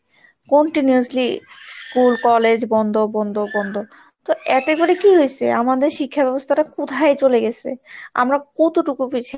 continuously school college বন্ধ বন্ধ বন্ধ তো এতে করে কি হয়েছে আমাদের শিক্ষাব্যবস্থাটা কোথায় চলে গেছে আমরা কতটুকু পিছিয়ে,